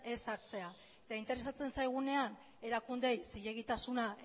ez hartzea eta interesatzen zaigunean erakundeei zilegitasuna